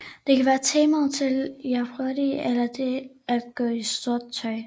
Det kan være temaet til Jeopardy eller det at gå i sort tøj